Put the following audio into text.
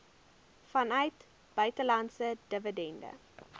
vanuit buitelandse dividende